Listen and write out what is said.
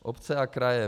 Obce a kraje.